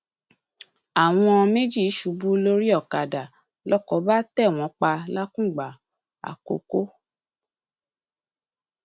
àwọn méjì ṣubú lórí ọkadà lóko bá tẹ wọn pa làkùngbà àkókò